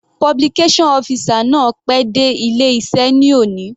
Publication officer náà pé dé ilé iṣẹ́ ní òní.